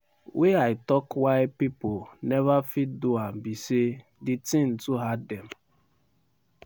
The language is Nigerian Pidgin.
wey i tok why pipo neva fit do am be say di tin too hard dem.